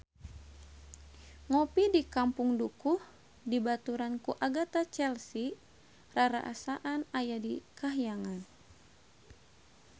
Ngopi di Kampung Dukuh dibaturan ku Agatha Chelsea rarasaan aya di kahyangan